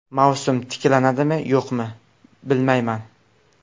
Mavsum tiklanadimi, yo‘qmi bilmayman.